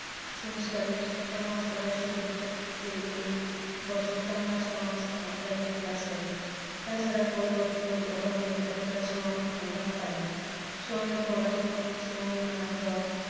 Semester এর ছমাস পড়ার সুযোগ থাকতে এই বছর টানা ছমাস offline এ class হয়নি। তাছাড়া বইপত্রের অভাবে এতটা সময় আমরাও পাইনি। সময়ের পড়াশোনা সময়ে না হওয়ায়